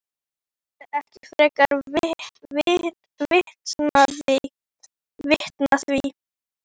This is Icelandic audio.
Það þurfti ekki frekari vitnanna við.